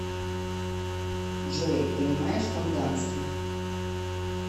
джой понимаешь тонганский